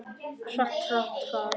Hratt, hraðar.